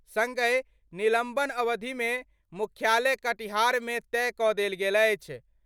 संगहि निलंबन अवधि मे मुख्यालय कटिहार मे तय क' देल गेल अछि।